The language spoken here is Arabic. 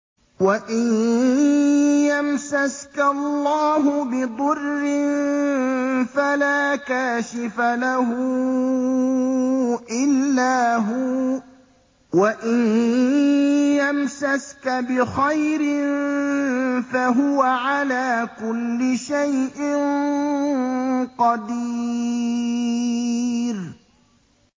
وَإِن يَمْسَسْكَ اللَّهُ بِضُرٍّ فَلَا كَاشِفَ لَهُ إِلَّا هُوَ ۖ وَإِن يَمْسَسْكَ بِخَيْرٍ فَهُوَ عَلَىٰ كُلِّ شَيْءٍ قَدِيرٌ